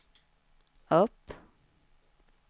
upp